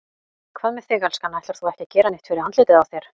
Hvað með þig, elskan. ætlar þú ekki að gera neitt fyrir andlitið á þér?